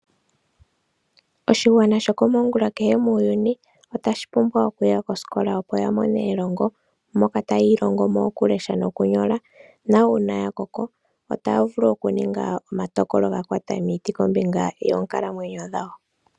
Oshigwana shokomongula kehe muuyuni, otashi pumbwa okuya kosikola opo ya mone elongo, moka taya ilongo mo okulesha nokunyola, na una ya koko, otaya vulu okuninga omatokolo ga kwata miiti kombinga yoonkalamwenyo dhawo.